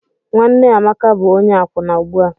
Nwanne Amaka bụ onye akwụna ugbu a.